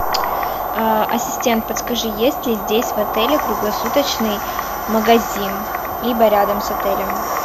а ассистент подскажи есть ли здесь в отеле круглосуточный магазин либо рядом с отелем